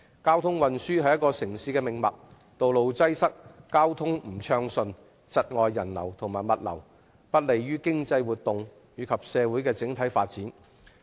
交通運輸是城市的命脈，如果道路擠塞和交通不暢順，將會窒礙人流和物流，而且對經濟活動和社會整體的發展不利。